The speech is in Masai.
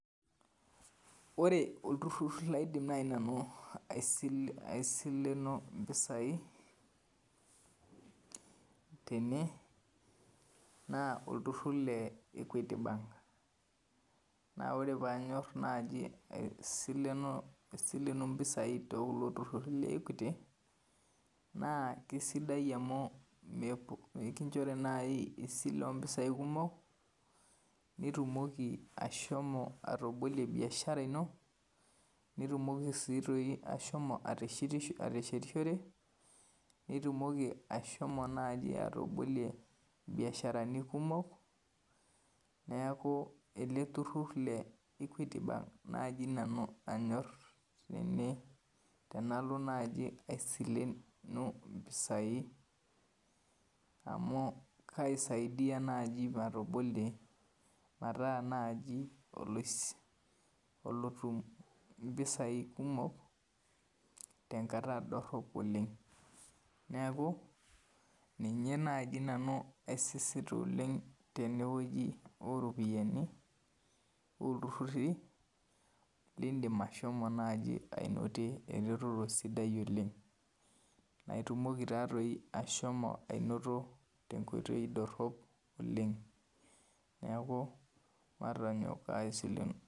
Ore olturur laidim naaji nanu aisileno impisai tena naa olturur le Equity bank naa ore paidim naaji asilenu impisai tene naa keisidai amu inkinjori naaji esile oompisai kumok nitumoki atobolie biashara ino nitumoki sii naaji ashomo ateshetishore nitumoki ashomo naaji atabolie imbiasharani kumok neeku ele turur le Equity bank naaji nanu anyor tene tenako naaji asilenu impisai amu keisidai naaji matabolie meetaa naaji alotum impisai tenkata dorop oleng neeku ninye naaji nanu aisisita oleng tenewueji ooropiyiani oltururi lindim naaji aisilenu eretoto sidai oleng naaitumoki taadoi ashomo anoto tenkoitoi dorop oleng neeku matonyok asilenu